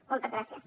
moltes gràcies